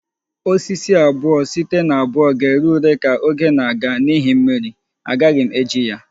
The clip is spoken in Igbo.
Osisi abuo site na abuo ga-ere ure ka oge na-aga n'ihi mmiri agaghị m eji ya